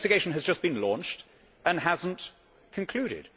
An investigation has just been launched and has not concluded.